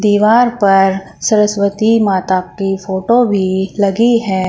दीवार पर सरस्वती माता की फोटो भी लगी है।